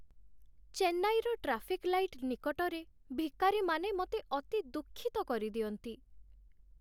ଚେନ୍ନାଇର traffic light ନିକଟରେ ଭିକାରୀମାନେ ମୋତେ ଅତି ଦୁଃଖିତ କରିଦିଅନ୍ତି।